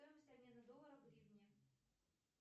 стоимость обмена доллара в гривне